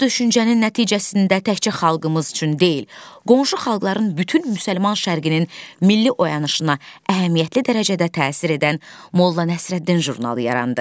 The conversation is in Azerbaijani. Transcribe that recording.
Bu düşüncənin nəticəsində təkcə xalqımız üçün deyil, qonşu xalqların bütün müsəlman şərqinin milli oyanışına əhəmiyyətli dərəcədə təsir edən Molla Nəsrəddin jurnalı yarandı.